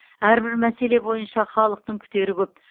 әрбір мәселе бойынша халықтың күтері көп